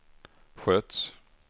sköts